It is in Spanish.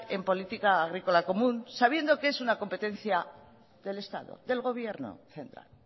en política agrícola común sabiendo que es una competencia del estado del gobierno central